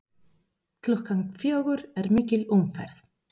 Klukkan fjögur er mikil umferð.